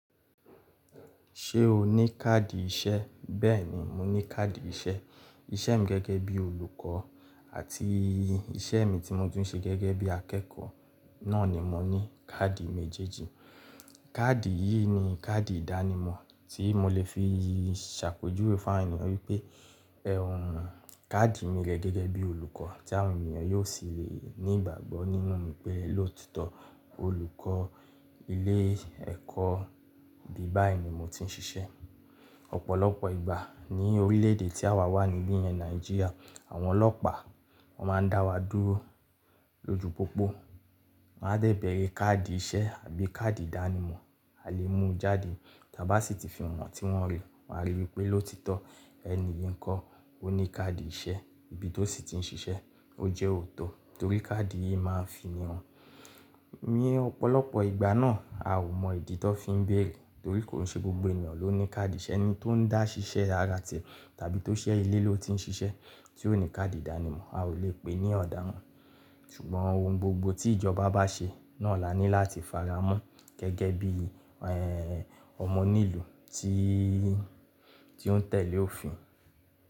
Ṣé o ní káàdì iṣẹ́? Bẹ́ẹ̀ni, mo ní káàdì iṣẹ́. Iṣẹ́ mi gẹ́gẹ́ bí olùkọ́ àti iṣẹ́ mi tí mo tùn ṣe gẹ́gẹ́ bí akẹ́kọ̀ọ́ náà ni mo ní káàdì méjèèjì. Káàdì yìí ni káàdì ìdánimọ̀ tí mo lè fi ṣàpèjúwe fún àwọn ènìyàn wípé, ẹh, káàdì mi rẹ gẹ́gẹ́ bí olùkọ́ tí àwọn ènìyàn yóò sì le ní ìgbàgbọ́ nínú mi pé lóòtọ́ olùkọ́ ilé ẹ̀kọ́ bí báyìí ni mo ti ń ṣiṣẹ́. Ọ̀pọ̀lọpọ̀ ìgbà ní orílẹ̀ èdè tí àwa wà níbí yẹn Nàìjíríà, àwọn ọlọ́pàá máa ń dá wa dúró lójú pópó, máa ń dẹ bẹ̀rẹ̀ káàdì iṣẹ́ àbí káàdì ìdánimọ̀, a lè mú jáde. Tí a bá sì ti fi hàn wọ́n tí wọ́n rí, wọn á rí i pé lóòtitọ́ ẹni ìyi nkọ́ ó ní káàdì iṣẹ́ ibi tó sì ti ń ṣiṣẹ́. Ó jẹ́ òótọ́ torí káàdì yìí máa ń fi ni hàn. Ní ọ̀pọ̀lọpọ̀ ìgbà náà a ò mọ ìdí tó fi ń bẹ̀rẹ̀ torí kò ṣe gbogbo ènìyàn ló ní káàdì iṣẹ́. Ẹni tó ń dá ṣiṣẹ́ ara tie tàbí tó ṣe ilé ló ti ń ṣiṣẹ́ tí ó ní káàdì ìdánimọ̀ a ò lè pè ní ọ̀dáràn. Ṣùgbọ́n ohun gbogbo tí ìjọba bá ṣe náà la ní láti faramọ́ gẹ́gẹ́ bí, ẹ́ẹ́, ọmọ onílù tí, tí ó ń tẹ̀lé òfin.